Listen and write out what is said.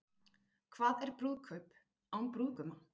Hvað er brúðkaup án brúðguma?